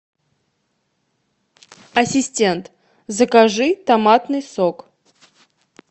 ассистент закажи томатный сок